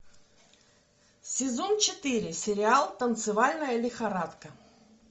сезон четыре сериал танцевальная лихорадка